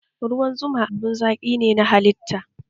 Ruwan zuma abin zaki ne na halitta